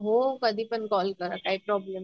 हो कधीपण कॉल करा काय प्रॉब्लेम नाही.